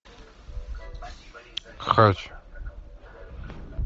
хач